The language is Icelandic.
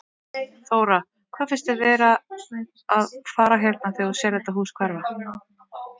Þóra: Hvað finnst þér vera að fara hérna þegar þú sérð þetta hús hverfa?